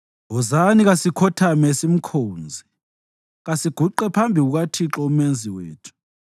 Wozani, kasikhothame simkhonze, kasiguqe phambi kukaThixo uMenzi wethu;